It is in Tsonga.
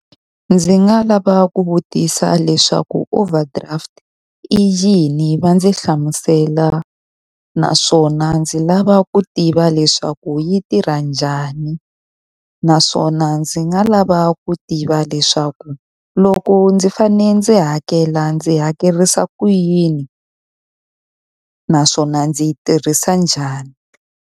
Ndzi nga lava ku vutisa leswaku overdraft i yini va ndzi hlamusela. Naswona ndzi lava ku tiva leswaku yi tirha njhani. Naswona ndzi nga lava ku tiva leswaku loko ndzi fanele ndzi hakela ndzi hakerisa ku yini naswona ndzi yi tirhisa njhani.